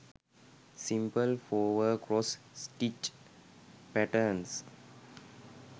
simple fower cross stitch patterns